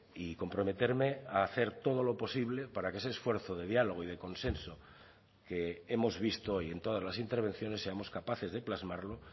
y comprometerme a hacer todo lo posible para que ese esfuerzo de diálogo y de consenso que hemos visto hoy en todas las intervenciones seamos capaces de plasmarlo